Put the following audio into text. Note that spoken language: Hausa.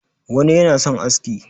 wani yana son aski